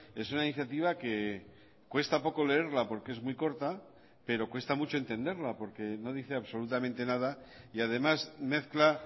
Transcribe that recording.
es una iniciativa que cuesta poco leerla porque es muy corta pero cuesta mucho entenderla porque no dice absolutamente nada y además mezcla